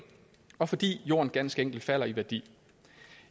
og fordi jorden ganske enkelt falder i værdi